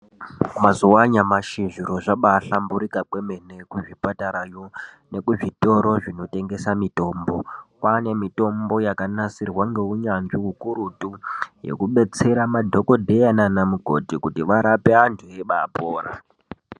Mazuva anyamashi zviro zvabahlamburuka kwemene kuzvipatarayo nekuzvitoro zvinotengeswa mitombo kwane mitombo yakanasirwa ngeunyanzvi ukurutu yekubetsera madhokodheya nana mukoti kuti varape antu veibapora.